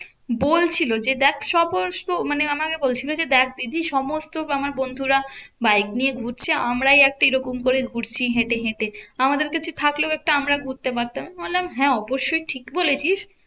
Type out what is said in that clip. বলছিলো যে দেখ সমস্ত মানে আমাকে বলছিলো যে, দেখ দিদি সমস্ত আমার বন্ধুরা বাইক নিয়ে ঘুরছে। আমরাই একটা এরকম করে ঘুরছি হেঁটে হেঁটে। আমাদের কাছে থাকলেও একটা আমরাও ঘুরতে পারতাম। বললাম হ্যাঁ অবশ্যই ঠিক বলেছিস